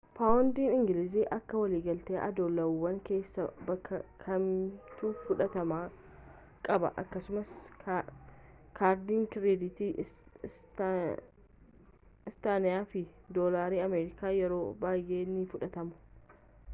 paawundiin ingilizii akka waligalaatti oddoolawwan keessaa bakka kamittuu fudhatama qaba akkasuma kaardiin kireeditii istaanleyii fi doolaarri amerikaas yeroo baay'ee ni fudhatamu